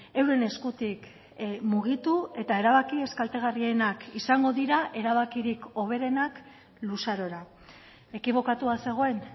euren eskutik mugitu eta erabaki ez kaltegarrienak izango dira erabakirik hoberenak luzarora ekibokatua zegoen